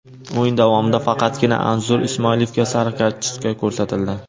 O‘yin davomida faqatgina Anzur Ismoilovga sariq kartochka ko‘rsatildi.